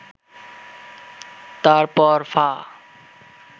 তারপর ফা